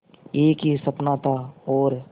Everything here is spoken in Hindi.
एक ही सपना था और